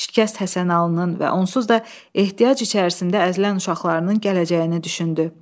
Şikəst Həsənalının və onsuz da ehtiyac içərisində əzilən uşaqlarının gələcəyini düşündü.